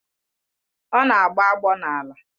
Ọ na-agbọ agbọ n'ala